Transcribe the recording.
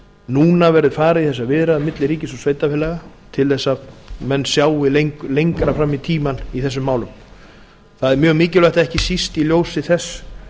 núna verði farið í þessar viðræður milli ríkis og sveitarfélaga til þess að menn sjái lengra fram í tímann í þessum málum það er mjög mikilvægt ekki síst í ljósi þess